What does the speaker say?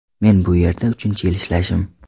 Men bu yerda uchinchi yil ishlashim.